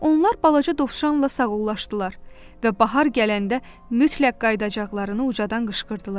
Onlar balaca dovşanla sağollaşdılar və bahar gələndə mütləq qayıdacaqlarını ucadan qışqırdılar.